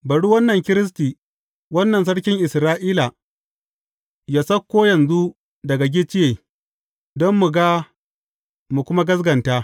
Bari wannan Kiristi, wannan Sarkin Isra’ila, yă sauko yanzu daga gicciye, don mu ga mu kuma gaskata.